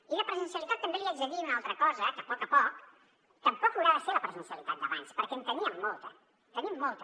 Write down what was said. i de presencialitat també li haig de dir una altra cosa que a poc a poc tampoc haurà de ser la presencialitat d’abans perquè en teníem molta en tenim molta